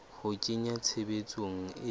ho a kenya tshebetsong e